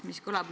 Aitäh!